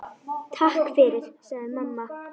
Takk fyrir, sagði mamma.